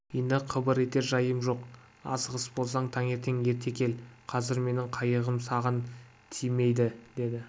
енді қыбыр етер жайым жоқ асығыс болсаң таңертең ерте кел қазір менің қайығым саған тимейді деді